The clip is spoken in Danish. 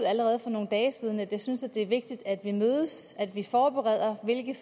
allerede for nogle dage siden at jeg synes det er vigtigt at vi mødes at vi forbereder hvilke